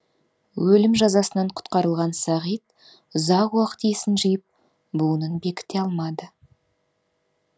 өлім жазасынан құтқарылған сағит ұзақ уақыт есін жиып буынын бекіте алмады